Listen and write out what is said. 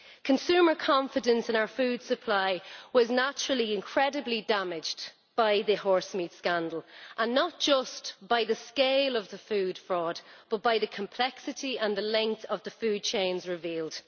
Consumer confidence in our food supply was naturally incredibly damaged by the horse meat scandal, and not just by the scale of the food fraud, but by the complexity and the length of the food chains revealed.